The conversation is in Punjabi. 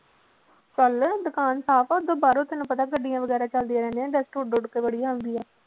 ਚੱਲ ਦੁਕਾਨ ਸਾਫ਼ ਆ ਓਦਾਂ ਬਾਹਰੋਂ ਤੈਨੂੰ ਪਤਾ ਗੱਡੀਆਂ ਵਗ਼ੈਰਾ ਚੱਲਦੀਆਂ ਰਹਿੰਦੀਆਂ dust ਉੱਡ ਉੱਡ ਕੇ ਬੜੀ ਆਉਂਦੀ ਆ।